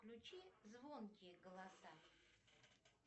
включи звонкие голоса